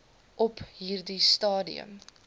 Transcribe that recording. op hierdie stadium